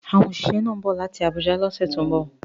Àwọn òṣìṣẹ́ náà ń bọ̀ láti Abuja lọ́sẹ̀ tó ń bọ̀